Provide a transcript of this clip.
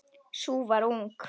Sú var ung!